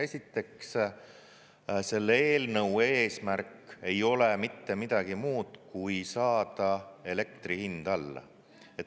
Esiteks, selle eelnõu eesmärk ei ole mitte midagi muud, kui saada elektri hind alla.